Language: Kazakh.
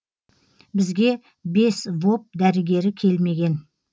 бізге бес воп дәрігері келмеген